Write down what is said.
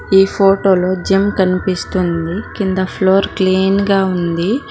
ఈ ఫోటోలో జిమ్ కనిపిస్తుంది కింద ఫ్లోర్ క్లీన్ గా ఉంది.